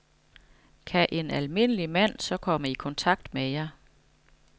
Kan en almindelig mand så komme i kontakt med jer?